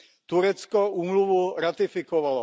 Turecko úmluvu ratifikovalo.